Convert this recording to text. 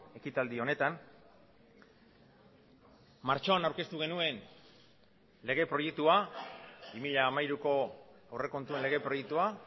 ekitaldi honetan martxoan aurkeztu genuen lege proiektua bi mila hamairuko aurrekontuen lege proiektua